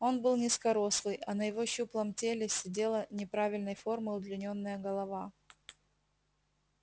он был низкорослый а на его щуплом теле сидела неправильной формы удлинённая голова